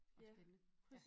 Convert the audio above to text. Og spændende